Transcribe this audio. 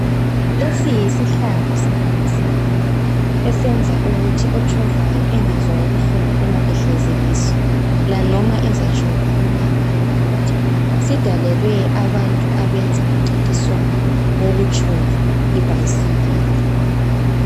Lesi yisihlalo sebhayisikili esenza ukuthi otshovayo engezwa ubuhlungu uma ehlezi kiso, lanoma ezatshova umango omude. Sidalelwe abantu abenza umncintiswano wokutshova ibhayisikili.